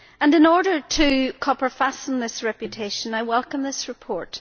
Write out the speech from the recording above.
In order to copper fasten that reputation, I welcome this report.